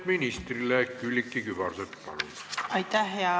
Hea minister!